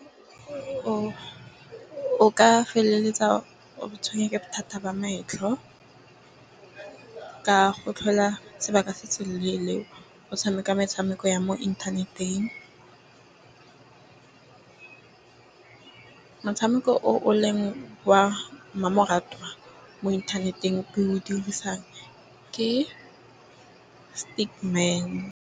O ka feleletsa o tshwengwa ke bothata ba metlho, ka go tlhola sebaka se se leele o o tshameka metshameko ya mo inthaneteng. Motshameko o o leng wa mmamoratwa mo inthaneteng ke o dirisang ke .